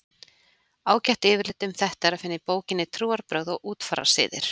Ágætt yfirlit um þetta er að finna í bókinni Trúarbrögð og útfararsiðir.